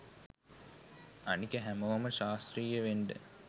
අනික හැමෝම ශාස්ත්‍රීය වෙන්ඩ